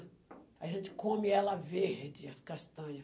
A gente come ela verde, as castanha.